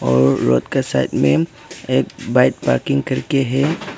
और रोड के साइड में एक बाइक पार्किंग करके है।